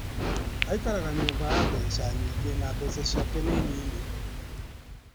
Aikaraga nyũmba ya mbeca nyingĩ na mbeca ciake nĩ nini.